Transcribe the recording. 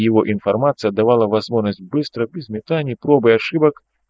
его информация давало возможность быстро и сметане проб и ошибок